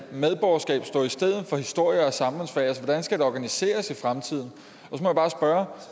medborgerskab stå i stedet for historie og samfundsfag hvordan skal det organiseres i fremtiden